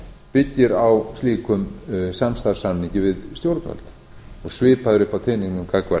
byggir á slíkum samstarfssamningi við stjórnvöld svipað er uppi á teningnum gagnvart